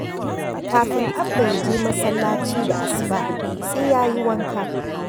Kafin Abba ya je masallaci da asuba, sai ya yi wanka.